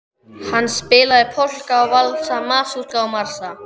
Hann spilaði polka og valsa, masúrka og marsa.